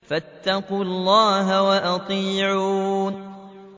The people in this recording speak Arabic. فَاتَّقُوا اللَّهَ وَأَطِيعُونِ